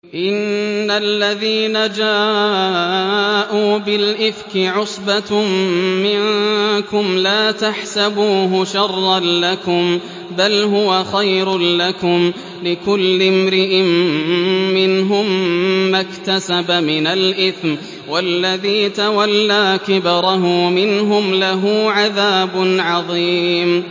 إِنَّ الَّذِينَ جَاءُوا بِالْإِفْكِ عُصْبَةٌ مِّنكُمْ ۚ لَا تَحْسَبُوهُ شَرًّا لَّكُم ۖ بَلْ هُوَ خَيْرٌ لَّكُمْ ۚ لِكُلِّ امْرِئٍ مِّنْهُم مَّا اكْتَسَبَ مِنَ الْإِثْمِ ۚ وَالَّذِي تَوَلَّىٰ كِبْرَهُ مِنْهُمْ لَهُ عَذَابٌ عَظِيمٌ